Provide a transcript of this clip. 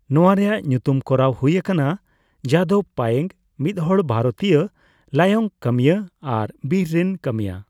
ᱱᱚᱣᱟ ᱨᱮᱭᱟᱜ ᱧᱩᱛᱩᱢ ᱠᱚᱨᱟᱣ ᱦᱩᱭ ᱟᱠᱟᱱᱟ ᱡᱟᱫᱚᱵᱽ ᱯᱟᱭᱮᱝ, ᱢᱤᱫᱦᱚᱲ ᱵᱷᱟᱨᱚᱛᱤᱭᱟᱹ ᱞᱟᱭᱚᱝ ᱠᱟᱹᱢᱤᱭᱟᱹ ᱟᱨ ᱵᱤᱨ ᱨᱮᱱ ᱠᱟᱹᱢᱤᱭᱟᱹ ᱾